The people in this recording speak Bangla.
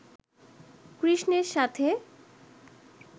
কৃষ্ণের সাথে